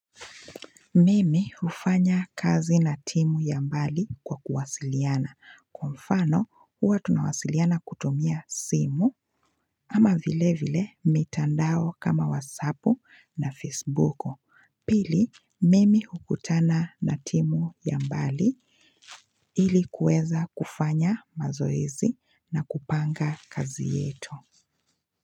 Mimi ufanya kazi na timu ya mbali kwa kuwasiliana, kwa mfano huwa tunawasiliana kutumia simu, ama vile vile mitandao kama wasapu na facebooku, pili mimi hukutana na timu ya mbali ilikuweza kufanya mazoezi na kupanga kazi yetu.